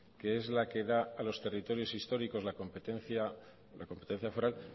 que es la que da a los territorios históricos la competencia foral